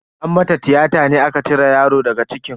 An mata tiyata ne aka cire yaro daga cikin.